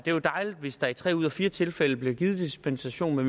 jo dejligt hvis der i tre ud af fire tilfælde bliver givet dispensation